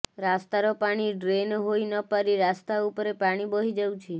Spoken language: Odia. ରାସ୍ତାର ପାଣି ଡ୍ରେନ ହୋଇନପାରି ରାସ୍ତା ଉପରେ ପାଣି ବହିଯାଉଛି